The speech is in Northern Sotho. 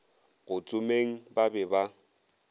go tsomeng ba be ba